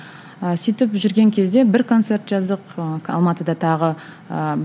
ы сөйтіп жүрген кезде бір концерт жаздық ы алматыда тағы ыыы